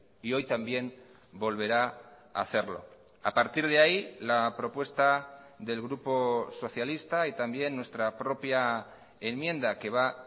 y hoy también volverá a hacerlo a partir de ahí la propuesta del grupo socialista y también nuestra propia enmienda que va